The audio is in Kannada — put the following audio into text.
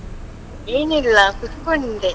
ಏನಿಲ್ಲ, ಕುತ್ಕೊಂಡೆ.